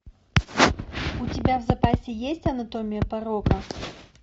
у тебя в запасе есть анатомия порока